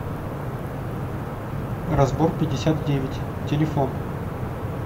разборпятьдесятдевять телефон